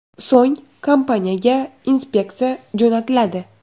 So‘ng kompaniyaga inspeksiya jo‘natiladi.